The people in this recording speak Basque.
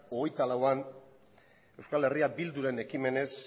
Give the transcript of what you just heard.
hogeita lauean euskal herria bilduren ekimenez